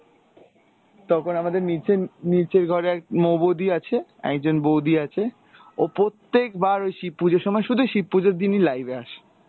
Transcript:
তখন আমাদের নীচের, নীচের ঘরে এক মৌ বৌদি আছে, একজন বৌদি আছে ও প্রত্যেকবার ওই শিব পুজোর সময় শুধু শিব পুজোর দিনই live এ আসে।